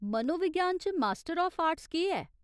मनोविज्ञान च master of arts केह् ऐ ?